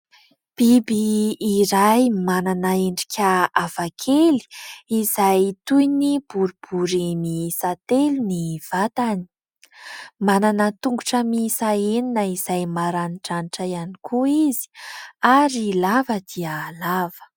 Biby iray manana endrika hafakely izay toy ny boribory miisa telo ny vatany. Manana tongotra miisa enina izay maranidranitra ihany koa izy ary lava dia lava.